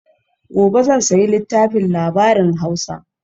gobe zan sayi littafin labarin hausa